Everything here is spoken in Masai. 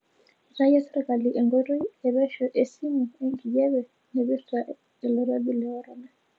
Eitayio serkali enkoitoi e pesho esimu enkijape naipirta olkirobi le korona.